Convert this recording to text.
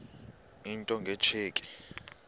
into nge tsheki